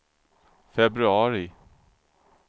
februari